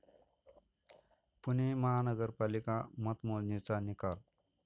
पुणे महानगरपालिका मतमोजणीचा निकाल